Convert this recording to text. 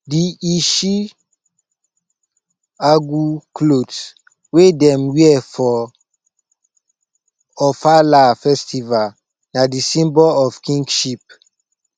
di ishi agu clot wey dem wear for ofala festval na di symbol of kingship